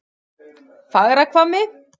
Fagrahvammi